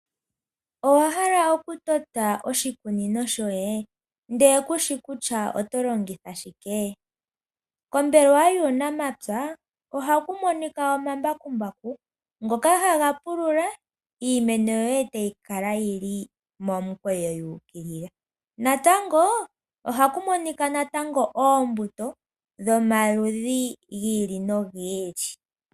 Owahala oku tameka oshikunino shoye ndelw kushi kutya oto longitha shike ? Kombelewa yuunamapya ohaku monika omambakumbu ngoka haga pulula iimeno yoye etayi kala yili momukweyo yu ukilila, natango ohaku monika natango oombuto dhomaludhi gi ili nogi ili.